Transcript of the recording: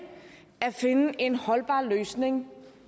at finde en holdbar løsning